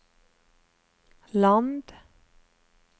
land